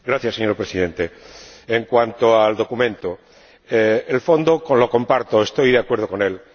Señor Presidente, en cuanto al documento, el fondo lo comparto, estoy de acuerdo con él